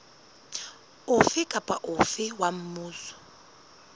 ofe kapa ofe wa mmuso